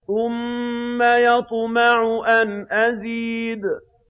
ثُمَّ يَطْمَعُ أَنْ أَزِيدَ